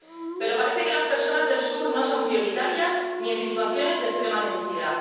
Pero parece que las personas del Sur no son prioritarias ni en situaciones de extrema necesidad.